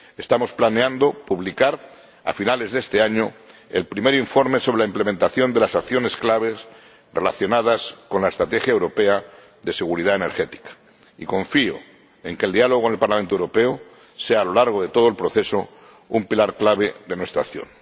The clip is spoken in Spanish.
Estamos planeando publicar a finales de este año el primer informe sobre la implementación de las acciones claves relacionadas con la Estrategia Europea de Seguridad Energética y confío en que el diálogo en el Parlamento Europeo sea, a lo largo de todo el proceso, un pilar clave de nuestra acción.